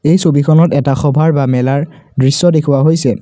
এই ছবিখনত এটা সভাৰ বা মেলাৰ দৃশ্য দেখুওৱা হৈছে।